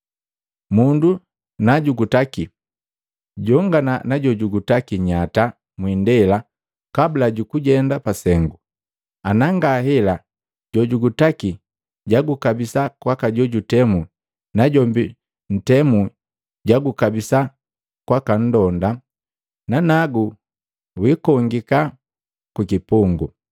“Mundu na jugutaki, jongana na jojugutaki nyata mwindela kabula jukujenda pasengu, anangahela jojugutaki jagukabisa kwaka jojutemu, najombi ntemu jagukabisa kwaka nndonda, nanagu wikongika kukipungu.